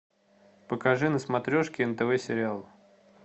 покажи на смотрешке нтв сериал